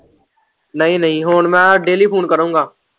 ਨਈ-ਨਈ ਹੁਣ ਮੈਂ ਡੇਲੀ ਫੂਨ ਕਰੂਗਾ।